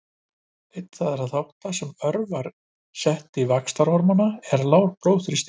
Einn þeirra þátta sem örvar seyti vaxtarhormóns er lágur blóðsykur.